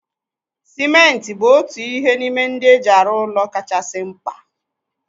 Simenti bụ otu n'ime ihe ndị eji arụ ụlọ kachasị mkpa